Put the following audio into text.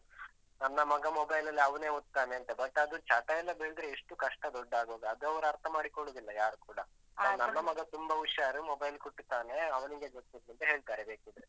ನನ್ನ ಮಗ mobile ಅಲ್ಲಿ ಅವನೇ ಓದ್ತಾನೇಂತ, but ಅದು ಚಟ ಎಲ್ಲ ಬೆಳ್ದ್ರೆ ಎಷ್ಟು ಕಷ್ಟ ದೊಡ್ಡ ಆಗುವಾಗ? ಅದು ಅವ್ರು ಅರ್ಥ ಮಾಡಿಕೊಳ್ಳುವುದಿಲ್ಲ ಯಾರೂ ಕೂಡ. ನನ್ನ ಮಗ ತುಂಬ ಹುಷಾರು mobile ಕುಟ್ತಾನೆ ಅವನಿಗೆ ಗೊತ್ತಿತ್ತು ಅಂತ ಹೇಳ್ತಾರೆ ಬೇಕಿದ್ರೆ.